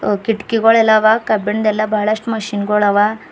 ಕಿಟ್ಕ್ ಗೋಳು ಎಲ್ಲಾ ಅವ ಕಬ್ಬಿಂದೆಲ್ಲ ಬಹಳಷ್ಟು ಮಷಿನ್ ಗೊಳವ.